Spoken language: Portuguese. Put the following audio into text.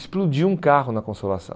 explodiu um carro na consolação